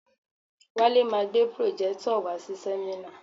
Wale ma gbé pròjẹ́tọ̀ wàá si sẹ́mínà.